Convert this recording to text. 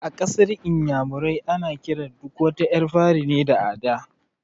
A ƙasar inyamurai ana kiran duk wata ƴar fari ne da "Ada"